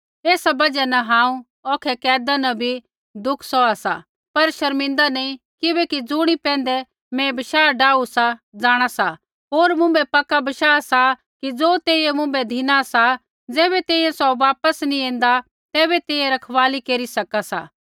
ऐसा बजहा न हांऊँ औखै कैदा न भी दुखा सौहा सा पर शर्मिंदा नी किबैकि ज़ुणी पैंधै मैं बशाह डाहू सा जाँणा सा होर मुँभै पक्का बशाह सा कि ज़ो तेइयै मुँभै धिनु सा ज़ैबै तैंईंयैं सौ वापस नैंई ऐन्दा तैबै तैंईंयैं रखवाली केरी सका सा